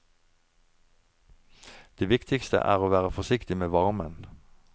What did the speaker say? Det viktigste er å være forsiktig med varmen.